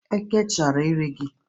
Eke chọrọ iri gị?